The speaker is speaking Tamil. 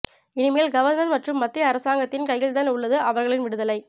இனிமேல் கவர்னர் மற்றும் மத்திய அரசாங்கத்தின் கையில்தான் உள்ளது அவர்களின் விடுதலை